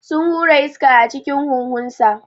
Sun hura iska a cikin huhunsa.